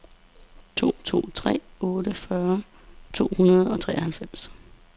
to to tre otte fyrre to hundrede og treoghalvfems